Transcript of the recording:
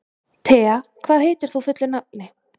Thea, hvað heitir þú fullu nafni?